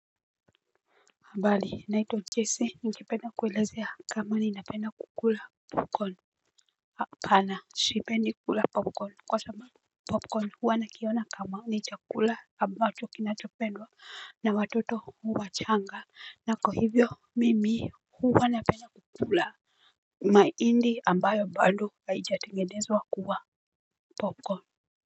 Habari, naitwa Jesse, ningependa kuelezea kama ninapenda kukula popcorn hapaana, sipendi kula popcorn, kwa sababu popcorn huwa nakiona kama ni chakula ambacho kinachopendwa na watoto wachanga. Na kwa hivyo, mimi huwa napenda kukula mahindi ambayo bado haijatengenezwa kuwa popcorn.